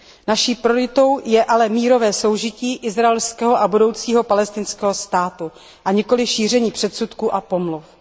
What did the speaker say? Naší prioritou je ale mírové soužití izraelského a budoucího palestinského státu, a nikoli šíření předsudků a pomluv.